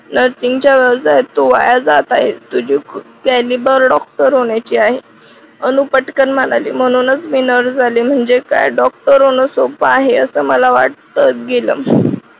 nursing च्या व्यवसायात तो वाया जात आहे तुझी planning डॉक्टर होण्या ची आहे अनुप अनुपटकन म्हणाली म्हणूनच मी nurse झाले म्हणजे काय डॉक्टर होण सोप्प आहे असं मला वाटतं गेलं